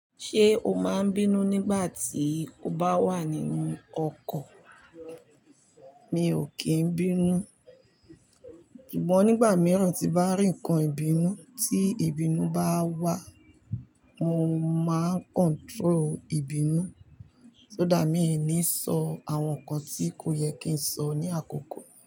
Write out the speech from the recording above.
Ṣé o máa ń bínú nígbà tí o bá wà nínú ọkọ̀? Mi ò kí ń bínú, ṣùgbọ́n nígbà mìíràn tí bá rìnkan ìbínú tí ìbínú bá wá, mo máa ń control ìbínú, so that mí ni sọ àwọn nǹkan tí kò yẹ kí n sọ ní àkókò.